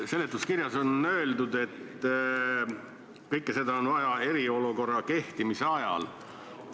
Seletuskirjas on öeldud, et kõike seda on vaja eriolukorra kehtimise ajal.